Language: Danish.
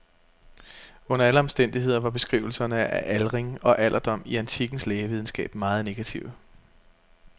Under alle omstændigheder var beskrivelserne af aldring og alderdom i antikkens lægevidenskab meget negative.